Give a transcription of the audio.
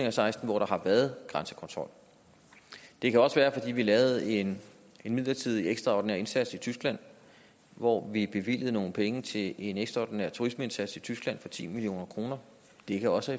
og seksten hvor der har været grænsekontrol det kan også være fordi vi lavede en midlertidig ekstraordinær indsats i tyskland hvor vi bevilgede nogle penge til en ekstraordinær turismeindsats i tyskland for ti million kroner det kan også